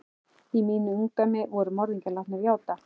Í mínu ungdæmi voru morðingjar látnir játa.